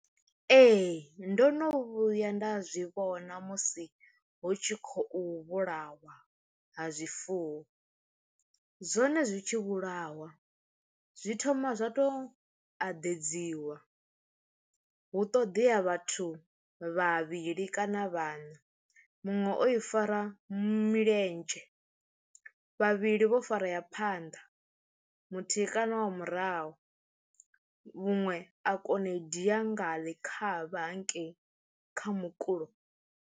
Ee ndo no vhuya nda zwi vhona musi hu tshi khou vhulawa ha zwifuwo, zwone zwi tshi vhulawa zwi thoma zwa tou aḓedziwa hu ṱoḓea vhathu vhavhili kana vhana muṅwe o i fara milenzhe vhavhili vho fara ya phanḓa muthihi kana wa murahu muṅwe a kona u i dia nga ḽikhavha hangei kha mukulo.